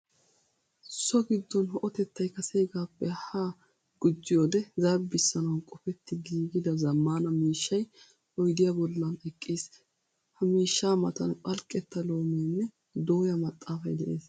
So giddon ho'otettay kaseegaappe ha gujjiyoode zarbbissanawu qofetti giigida zammaana miishshay oydiya bollan eqqiis. Ha miishshaa matan phalqqetta loomee nne dooya maxaafay de"es.